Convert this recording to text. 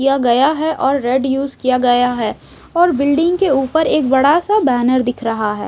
यह गया है और रेड यूस किया गया है और बिल्डिंग के ऊपर एक बड़ा सा बैनर दिख रहा है।